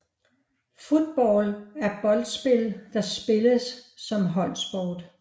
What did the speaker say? Football er boldspil der spilles som holdsport